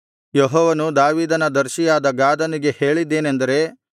ಯೆಹೋವನು ದಾವೀದನ ದರ್ಶಿಯಾದ ಗಾದನಿಗೆ ಹೇಳಿದ್ದೇನೆಂದರೆ